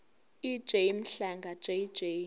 ej mhlanga jj